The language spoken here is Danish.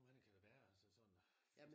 Hvor mange kan der være altså sådan?